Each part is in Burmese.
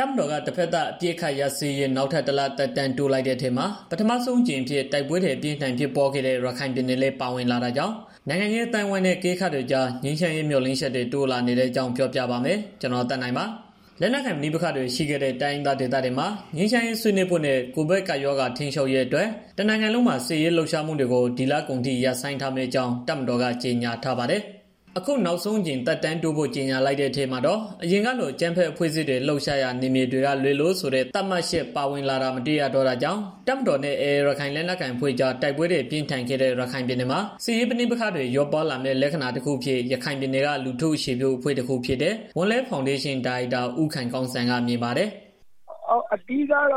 တပ်မတော်က တဘက်သတ် အပစ်အခတ်ရပ်စဲရေး နောက်ထပ် ၁ လ သက်တမ်းတိုးလိုက်တဲ့အထဲမှာ ပထမဆုံးအကြိမ်အဖြစ် တိုက်ပွဲတွေ အပြင်းအထန်ဖြစ်ပွားခဲ့တဲ့ ရခိုင်ပြည်နယ်လည်း ပါဝင်လာတာကြောင့် ရခိုင်နိုင်ငံရေး အသိုင်းအဝန်းနဲ့ အကဲခတ်တွေကြား ငြိမ်းချမ်းရေး မျှော်လင့်ချက်တွေ တိုးလာနေတဲ့အကြောင်းကို ဗွီအိုအေမြန်မာပိုင်းသတင်းထောက် ကိုသက်နိုင်က ပြောပြပေးပါမယ်။ လက်နက်ကိုင်ပဋိပက္ခတွေ ရှိနေတဲ့ တိုင်းရင်းသားဒေသတွေမှာ ငြိမ်းချမ်းရေး ဆွေးနွေးဖို့နဲ့ ကိုဗစ်ကပ်ရောဂါ ထိန်းချုပ်ရေးအတွက် တနိုင်ငံလုံးမှာ စစ်ရေးလှုပ်ရှားမှုတွေကို ဒီလကုန်အထိ ရပ်ဆိုင်းထားမယ့်အကြောင်း တပ်မတော်က ကြေညာထားပါတယ်။ အခုနောက်ဆုံးအကြိမ် သက်တမ်းတိုးဖို့ ကြေညာလိုက်တဲ့အထဲမှာတော့ အရင်ကလို အကြမ်းဖက်အဖွဲ့အစည်းတွေ လှုပ်ရှားရာ နယ်မြေတွေက လွဲလို့ ဆိုတဲ့ သတ်မှတ်ချက် ပါဝင်လာတာ မတွေ့ရတော့တာကြောင့် တပ်မတော်နဲ့ AA ရခိုင်လက်နက်ကိုင်အဖွဲ့ကြား တိုက်ပွဲတွေ ပြင်းထန်ခဲ့တဲ့ ရခိုင်ပြည်နယ်မှာ စစ်ရေးပဋိပက္ခတွေ လျော့ပါးလာမယ့် လက္ခဏာတခုအဖြစ် ရခိုင်ပြည်နယ်က လူထုအခြေပြု အဖွဲ့တခုဖြစ်တဲ့ ဝံလက်ဖောင်းဒေးရှင်း ဒါရိုက်တာ ဦးခိုင်ကောင်းစံက မြင်ပါတယ်။ “အဓိကတော့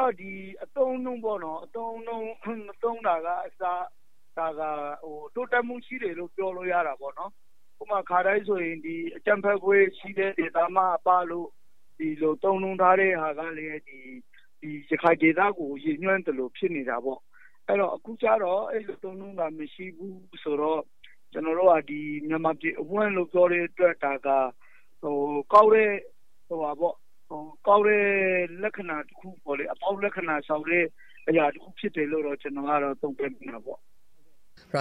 အသုံးအနှုန်း သုံးတာကအစ တိုးတက်မှု ရှိတယ်လို့ ပြောလို့ရတာပေါ့နော်။ အခါတိုင်း ဆိုရင် အကြမ်းဖက်အဖွဲ့ ရှိတဲ့ ဒေသမှအပတို့ သုံးနှုန်းထားတာကလည်း ရခိုင်ဒေသကို ရည်ညွန်းသလိုဖြစ်နေတယ်။ အခုကျတော့ အဲဒီလို သုံးနှုန်းတာမရှိဘူး။ မြန်မာပြည်အဝန်းလို့ ပြောတဲ့အတွက် ဒါဟာ ကောင်းတဲ့ အကောင်း လက္ခဏာဆောင်တဲ့ လက္ခဏာတစ်ခုပဲလို့ ကျနော်မြင်ပါတယ်။” ရ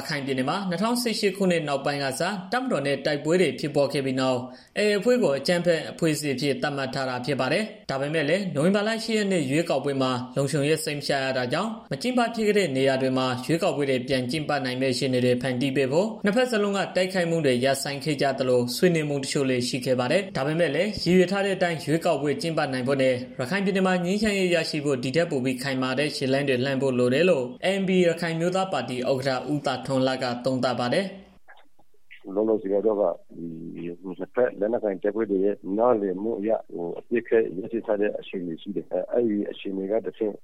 ခိုင်ပြည်နယ်မှာ ၂၀၁၈ ခုနှစ်နှောင်းပိုင်းကစ တပ်မတော်နဲ့ တိုက်ပွဲတွေ ဖြစ်ခဲ့ပြီးနောက် AA အဖွဲ့ကို အကြမ်းဖက် အဖွဲ့အစည်းအဖြစ် သတ်မှတ်ထားတာ ဖြစ်ပါတယ်။ ဒါပေမဲ့လည်း နိုဝင်ဘာလ ၈ ရက်နေ့ ရွေးကောက်ပွဲမှာ လုံခြုံရေး စိတ်မချရတာကြောင့် မကျင်းပဖြစ်တဲ့ နေရာတွေမှာ ရွေးကောက်ပွဲတွေ ကျင်းပနိုင်မယ့် အခြေအနေတွေ ဖန်တီးဖို့ဆိုပြီး နှစ် ဘက်စလုံးက တိုက်ခိုက်မှုတွေ ရပ်ဆိုင်းခဲ့ကြသလို ဆွေးနွေးမှုတချို့လည်း ရှိခဲ့ပါတယ်။ ဒါပေမဲ့လည်း ရည်ရွယ်ထားတဲ့အတိုင်း ရွေးကောက်ပွဲ ကျင်းပနိုင်ဖို့နဲ့ ရခိုင်ပြည်နယ်မှာ ငြိမ်းချမ်းရေး ရရှိဖို့ ဒီထက်ပိုပြီး ခိုင်မာတဲ့ ခြေလှမ်းတွေ လှမ်းဖို့လိုတယ်လို့ ANP ရခိုင်အမျိုးသားပါတီ ဥက္ကဋ္ဌ ဦးသာထွန်းလှက သုံးသပ်ပါတယ်။ “လက်ရှိရခိုင်ပြည်နယ်ရဲ့ အခြေအနေကတော့ လက်နက်ကိုင်တပ်ဖွဲ့တွေက နှစ်ဘက် နားလည်မှုနဲ့ အပစ်အခတ်ရပ်စဲထားတဲ့ အခြေအနေဖြစ်တယ်။ အဲဒီကနေတဆင့်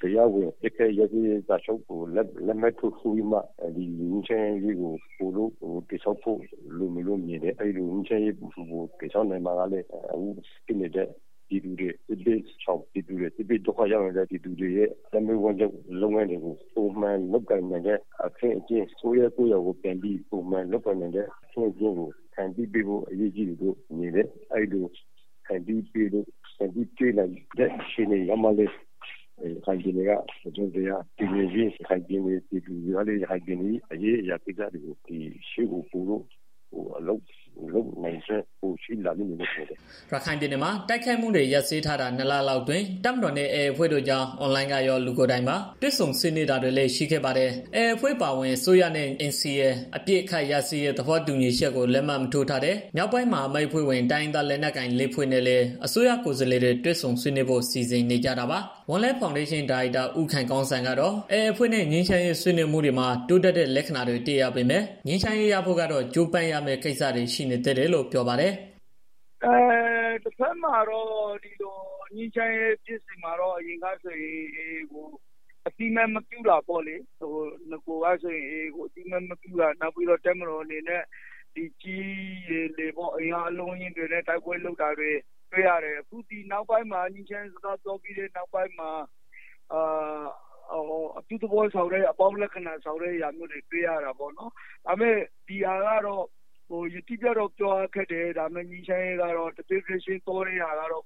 တရားဝင် အပစ်ရပ်စာချုပ်ကို လက်မှတ်ရေးထိုးနိုင်ရေးအထိ ငြိမ်းချမ်းရေးကို ပိုပြီးတော့ တည်ဆောက်ဖို့ လိုမယ်လို့ထင်တယ်။ ငြိမ်းချမ်းရေးကို တည်ဆောင်နိုင်မှလည်း ဒုက္ခရောက်နေကြတဲ့ စစ်ရှောင်ပြည်သူတွေ ရဲ့ အသက်မွေးဝမ်းကြောင်း လုပ်ငန်းတွေကို ပုံမှန်လုပ်ကိုင်နိုင်ကြမယ်။ နေရပ်ပြန်နိုင်မယ့် အခင်းအကျင်းတွေကို ပိုပြီးတော့ လုပ်ဆောင်လာနိုင်လိမ့်မယ်။ အဲဒီလိုတွေ လုပ်ပေးနိုင်တဲ့ အခြေအနေရောက်မှာလည်း ရခိုင်ပြည်နယ်ရဲ့ ပြည်သူတွေကလည်း ရခိုင်ပြည်နယ်ရဲ့ အရေးအရာတွေကို ပိုပြီးတော့ လုပ်ပေးနိုင်လိမ့်မယ်ဖြစ်ပါတယ်။” ရခိုင်ပြည်နယ်မှာ တိုက်ခိုက်မှုတွေ ရပ်စဲထားတာ နှစ် လလောက်အတွင်း တပ်မတော်နဲ့ AA အဖွဲ့တို့ကြား အွန်လိုင်းကရော၊ လူကိုယ်တိုင်ပါ တွေ့ဆုံဆွေးနွေးတာတွေလည်း ရှိခဲ့ပါတယ်။ AA အဖွဲ့အပါအဝင် အစိုးရနဲ့ NCA အပစ်အခတ်ရပ်စဲရေး သဘောတူညီချက်ကို လက်မှတ်ထိုးမထားတဲ့ မြောက်ပိုင်းမဟာမိတ်အဖွဲ့ဝင် တိုင်းရင်းသားလက်နက်ကိုင် ၄ ဖွဲ့နဲ့လည်း အစိုးရကိုယ်စားလှယ်တွေ တွေ့ဆုံဆွေးနွေးဖို့ စီစဉ်နေကြတာပါ။ ဝံလက်ဖောင်းဒေးရှင်း ဒါရိုက်တာ ဦးခိုင်ကောင်းစံကတော့ AA အဖွဲ့နဲ့ ငြိမ်းချမ်းရေး ဆွေးနွေးမှုတွေမှာ တိုးတက်တဲ့ လက္ခဏာတွေ တွေ့ရပေမဲ့ ငြိမ်းချမ်းရေးရဖို့ကတော့ ကြိုးပမ်းရမယ့်ကိစ္စတွေ ရှိနေသေးတယ်လို့ပြောပါတယ်။ “ငြိမ်းချမ်းရေးဖြစ်စဉ်မှာတော့ အရင်ကဆိုရင် AA ကို အသိအမှတ်မပြုတာပေါ့လေ။ နောက်ပြီးတော့ တပ်မတော်အနေနဲ့ ကြည်း၊ ရေ၊ လေ အင်အားအလုံးအရင်းနဲ့ တိုက်ပွဲလုပ် တာတွေ တွေ့ရတယ်။ အခုဒီ ငြိမ်းချမ်းရေးစကားပြောပြီး နောက်ပိုင်းမှာတော့ အပြုသဘောဆောင်တဲ့ အသုံးအနှုန်းတွေ တွေ့ရတာပေါ့နော်။ ဒါပေမဲ့ ဒါက အတိအကျတော့ ပြောရခက်တယ်။ ဒါပေမဲ့ တစ်ဖြည်းဖြည်း သွားနေတာကတော့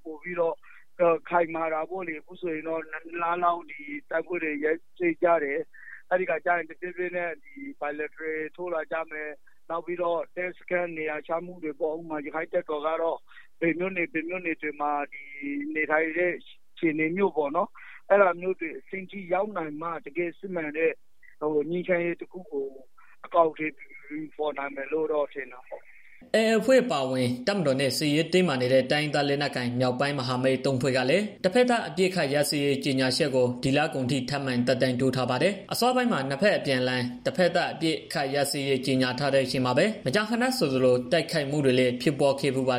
ခိုင်မာတာပေါ့။ အခုဆိုရင် တိုက်ပွဲ ရပ်ထားတာလည်း နှစ်လလောက် ရှိပြီး ပြီးတော့ အပစ်ရပ် လက်မှတ်ထိုးမယ်။ နောက်ပြီးတော့ တပ်စခန်းနေရာချမှုတွေ... ဥပမာ ရခိုင့်တပ်တော်ကတော့ ဘယ်နေရာတွေမှာ နေဆိုတာမျိုး အဲဒီလိုအဆင့်တွေ အထိရောက်မှပဲ တကယ့် စစ်မှန်တဲ့ ငြိမ်းချမ်းရေးကို အကောင်အထည်ဖော်နိုင်မယ်လို့ ထင်တာပေါ့။” AA အဖွဲ့ အပါအဝင် တပ်မတော်နဲ့ စစ်ရေးတင်းမာနေတဲ့ တိုင်းရင်းသားလက်နက်ကိုင် မြောက်ပိုင်းမဟာမိတ် ၃ ဖွဲ့ကလည်း တဘက်သတ် အပစ်အခတ်ရပ်စဲရေး ကြေညာချက်ကို ဒီလကုန်အထိ ထပ်မံသက်တမ်းတိုးထားပါတယ်။ အစောပိုင်းမှာ နှစ် ဘက် အပြန်အလှန် တဘက်သတ် အပစ်အခတ်ရပ်စဲရေး ကြေညာထားတဲ့ အချိန်မှာပဲ မကြာခဏဆိုသလို တိုက်ခိုက်မှုတွေလည်း ဖြစ်ပွားခဲ့ဖူးပါတယ်။